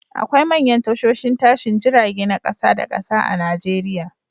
Akwai manyan tashoshin tashin jirage na kasa da kasa a Nijeriya